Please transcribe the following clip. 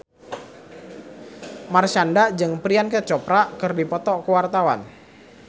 Marshanda jeung Priyanka Chopra keur dipoto ku wartawan